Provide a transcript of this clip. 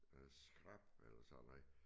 Øh skrap eller sådan noget